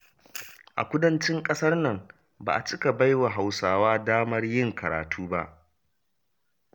A kudancin ƙasar nan ba a cika baiwa Hausawa damar yin karatu ba.